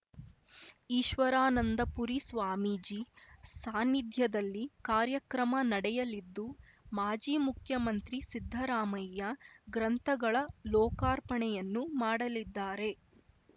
ಈಶ್ವರಾನಂದಪುರಿ ಸ್ವಾಮೀಜಿ ಸಾನ್ನಿಧ್ಯದಲ್ಲಿ ಕಾರ್ಯಕ್ರಮ ನಡೆಯಲಿದ್ದು ಮಾಜಿ ಮುಖ್ಯಮಂತ್ರಿ ಸಿದ್ಧರಾಮಯ್ಯ ಗ್ರಂಥಗಳ ಲೋಕಾರ್ಪಣೆಯನ್ನು ಮಾಡಲಿದ್ದಾರೆ